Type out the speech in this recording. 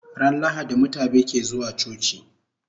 Ran lahadi mutabe ke zuwa coci